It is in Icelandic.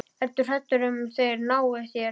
Ertu hræddur um að þeir nái þér?